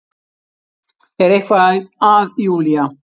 Er eitthvað að Júlía?